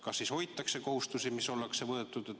Kas siis hoitakse kohustusi, mis ollakse võetud?